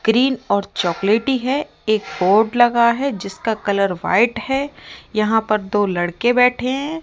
Green और चॉकलेटी है एक बोर्ड लगा है जिसका कलर व्हाइट है यहां पर दो लड़के बैठे हैं।